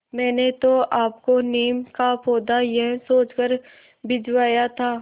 मैंने तो आपको नीम का पौधा यह सोचकर भिजवाया था